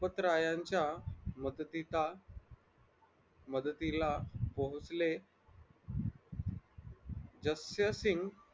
लखपत रे यांच्या मदतीचा मदतीला पोहोचले जक्य सिंग